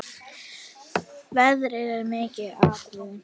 Veðrið er mikið atriði.